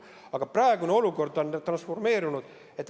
Aga praegune olukord on transformeerunud.